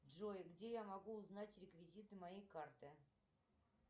джой где я могу узнать реквизиты моей карты